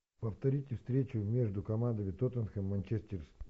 повторите встречу между командами тоттенхэм манчестер